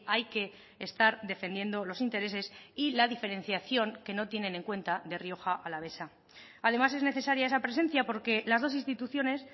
hay que estar defendiendo los intereses y la diferenciación que no tienen en cuenta de rioja alavesa además es necesaria esa presencia porque las dos instituciones